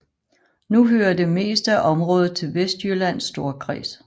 Nu hører det meste af området til Vestjyllands Storkreds